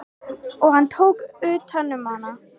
Og hann tók utan um hana.